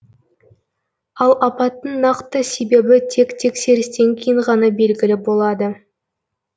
ал апаттың нақты себебі тек тексерістен кейін ғана белгілі болады